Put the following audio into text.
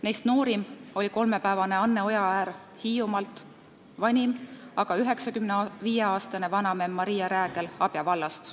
Neist noorim oli kolmepäevane Anne Ojaäär Hiiumaalt, vanim aga 95-aastane vanamemm Maria Räägel Abja vallast.